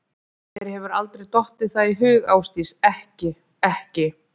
Þér hefur aldrei dottið það í hug Ásdís, ekki. ekki.